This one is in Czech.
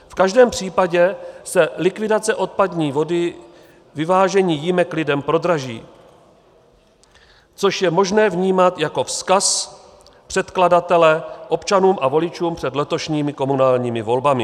V každém případě se likvidace odpadní vody, vyvážení jímek lidem prodraží, což je možné vnímat jako vzkaz předkladatele občanům a voličům před letošními komunálními volbami.